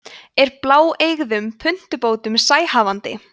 er bláeygðum puntubótum sæhafandi